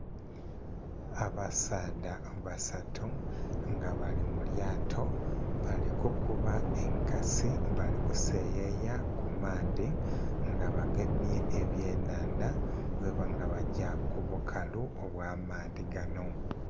Absaadha basatu nga bali mu lyato bali kukuba enkasi bali kuseyeeya ku maadhi nga bagemye ebyenhandha nga bagya ku bukalu obwa maadhi ganho.